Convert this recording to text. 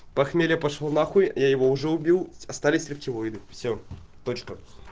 похмелье пошёл н я его уже убил остались рептилоидов все точка